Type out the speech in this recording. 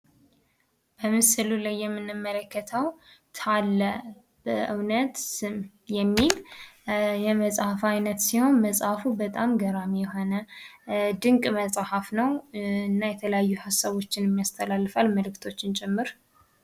በምስሉ ላይ የምንመለከተው ታለ በእውነት ስም የሚል የመጽሐፍ አይነት ሲሆን፤ መጽሃፉ በጣም ገራሚ የሆነ ድንቅ መጽሃፍ ነው። እና የተለያዩ ሃሳቦችን ያስተላልፋል መልእክቶችን ጭምር።